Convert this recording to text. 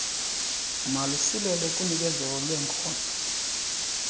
malusilele kunikezelo lweenkozo